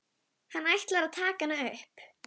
Hann ætlar að taka hana upp.